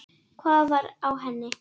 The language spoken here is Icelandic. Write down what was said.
Hvað var á henni?